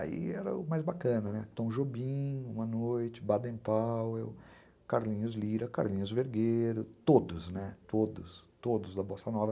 Aí era o mais bacana, né, Tom Jobim, Uma Noite, Baden Powell, Carlinhos Lira, Carlinhos Vergueiro, todos, todos da Bossa Nova.